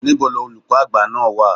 Níbo ni Olùkọ́ Àgbà náà wà?